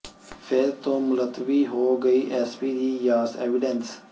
ਫਿਰ ਤੋੋਂ ਮੁਲਤਵੀ ਹੋ ਗਈ ਐੱਸਪੀ ਦੀ ਯਾਸ ਐਵੀਡੈਂਸ